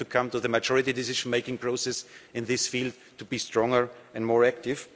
We have to come to the majority decision-making process in this field to be stronger and more active.